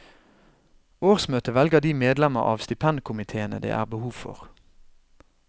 Årsmøtet velger de medlemmer av stipendkomiteene det er behov for.